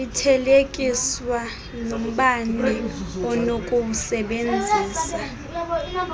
ithelekiswa nombane onokuwusebenzisa